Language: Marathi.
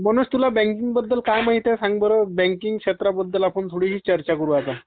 मनोज तुला बॅंकींगबद्दल काय माहितेय सांग बर... बॅंकींग क्षेत्राबद्दल आपण थोड़ी चर्चा करु आता